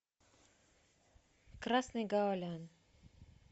красный гаолян